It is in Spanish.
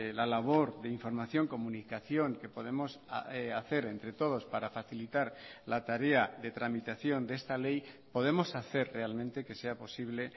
la labor de información comunicación que podemos hacer entre todos para facilitar la tarea de tramitación de esta ley podemos hacer realmente que sea posible